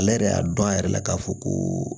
Ale yɛrɛ y'a dɔn a yɛrɛ la k'a fɔ ko